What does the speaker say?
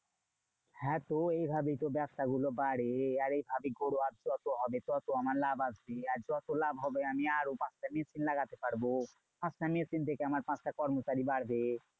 হ্যাঁ তো এইভাবেই তো ব্যবসা গুলো বাড়ে। আর এইভাবেই যত হবে তত আমার লাভ আসবে। আর যত লাভ হবে আমি আরও পাঁচটা machine লাগাতে পারবো। পাঁচটা machine থেকে আমার পাঁচটা কর্মচারী বাড়বে।